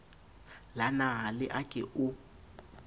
la nale a ke o